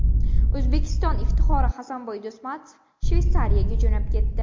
O‘zbekiston iftixori Hasanboy Do‘stmatov Shveysariyaga jo‘nab ketdi.